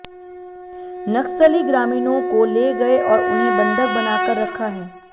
नक्सली ग्रामीणों को ले गए और उन्हें बंधक बनाकर रखा है